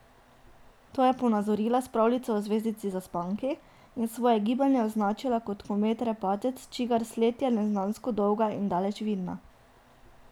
To je ponazorila s pravljico o zvezdici Zaspanki in svoje gibanje označila kot komet Repatec, čigar sled je neznansko dolga in daleč vidna.